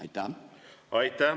Aitäh!